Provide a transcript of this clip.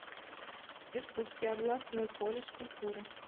иркутский областной колледж культуры